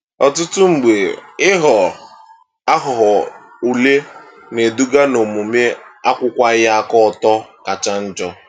Ọtụtụ mgbe, ịghọ aghụghọ ule na-eduga n'omume akwụwaghị aka ọtọ kacha njọ.